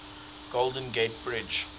golden gate bridge